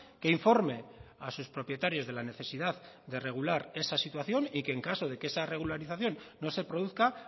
que informe a sus propietarios de la necesidad de regular esa situación y que en caso de que esa regularización no se produzca